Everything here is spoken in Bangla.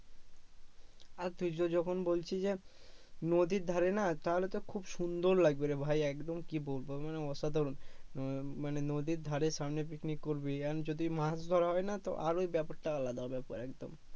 আর তুই যখন বলছিস যে নদীর ধারে না তাহলে তো খুব সুন্দর লাগবেরে ভাই একদম কি বলবো মানে অসাধারণ উম মানে নদীর ধারে সামনে পিছনে ঘুরবি এখন যদি মাছ ধরা হয়না তো আরোই ব্যাপার টা আলাদা হবে একবারে একদম